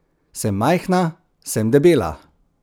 Sem majhna, sem debela.